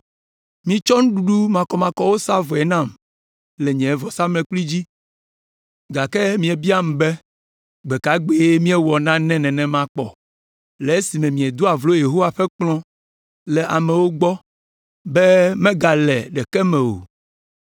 “Mietsɔ nuɖuɖu makɔmakɔwo sa vɔe nam le nye vɔsamlekpui dzi, “Gake miebiam be, ‘Gbe ka gbee míewɔ nane nenema kpɔ?’ “Le esime míedoa vlo Yehowa ƒe kplɔ̃ le amewo gbɔ be megale ɖeke me o.